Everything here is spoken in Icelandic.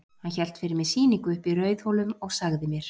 Hann hélt fyrir mig sýningu uppi í Rauðhólum og sagði mér.